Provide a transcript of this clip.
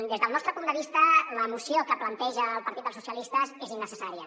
des del nostre punt de vista la moció que planteja el partit socialistes és innecessària